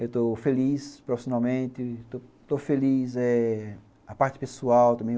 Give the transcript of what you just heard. Eu estou feliz profissionalmente, estou feliz eh a parte pessoal também.